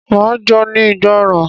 Máa jóní ìgbọràn.